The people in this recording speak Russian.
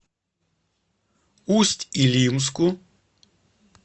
усть илимску